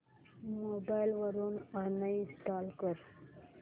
mobile वरून uninstall कर